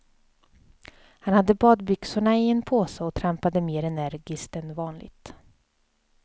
Han hade badbyxorna i en påse och trampade mer energiskt än vanligt.